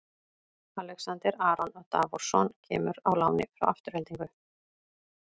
Alexander Aron Davorsson kemur á láni frá Aftureldingu.